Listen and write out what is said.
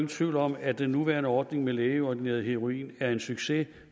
tvivl om at den nuværende ordning med lægeordineret heroin er en succes